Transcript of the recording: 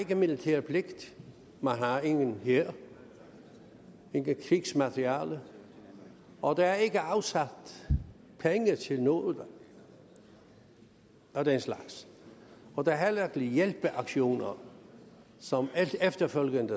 har militær pligt man har ingen hær intet krigsmateriel og der er ikke afsat penge til noget af den slags og der er heller ikke hjælpeaktioner som efterfølgende